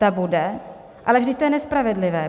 Ta bude: ale vždyť to je nespravedlivé.